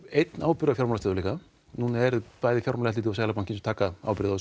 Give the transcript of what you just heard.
einn ábyrgð á fjármálastöðugleika núna eru bæði fjármálaeftirlit og Seðlabanki sem taka ábyrgð á